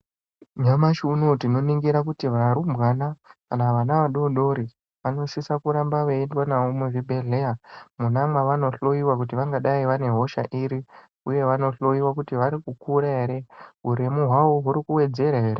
Nyamashi unowu tinoningira kuti varumbwana kana vana vadodori vanosisa kuramba veiendwa navo muzvibhedhlera mwona mwavanohloyiwa kuti vangadayi vanehosha iri uye vanohloyiwa kuti varikukura ere uremu hwavo hurikuwedzera here.